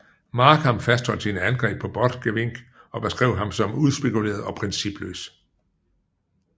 Markham fastholdt sine angrep på Borchgrevink og beskrev ham som udspekuleret og principløs